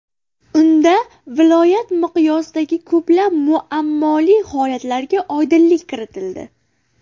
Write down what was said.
Unda viloyat miqyosidagi ko‘plab muammoli holatlarga oydinlik kiritildi.